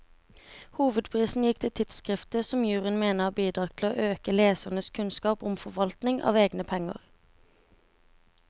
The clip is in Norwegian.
Hovedprisen gikk til tidskriftet, som juryen mener har bidratt til å øke lesernes kunnskap om forvaltning av egne penger.